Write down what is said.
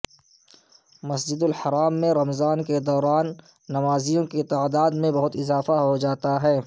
مسجد الحرام میں رمضان کے دوران نمازیوں کی تعداد میں بہت اضافہ ہوجاتا ہے